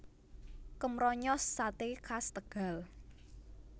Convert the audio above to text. Kemronyos Sate khas Tegal